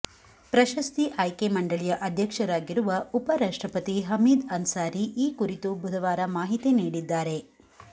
ಪ್ರಶಸ್ತಿ ಆಯ್ಕೆ ಮಂಡಳಿಯ ಅಧ್ಯಕ್ಷರಾಗಿರುವ ಉಪ ರಾಷ್ಟ್ರಪತಿ ಹಮೀದ್ ಅನ್ಸಾರಿ ಈ ಕುರಿತು ಬುಧವಾರ ಮಾಹಿತಿ ನೀಡಿದ್ದಾರೆ